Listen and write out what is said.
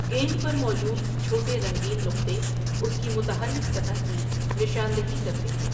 گیند پر موجود چھوٹے رنگین نقطے اس کی متحرک سطح کی نشاندہی کرتے ہیں۔